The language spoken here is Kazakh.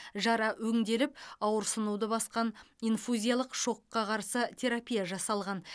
жара өңделіп ауырсынуды басқан инфузиялық шокқа қарсы терапия жасалған